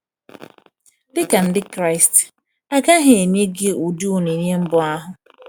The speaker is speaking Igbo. Dịka Ndị Kraịst, a gaghị enye gị ụdị onyinye mbụ ahụ.